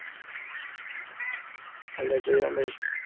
രണ്ടായിരത്തി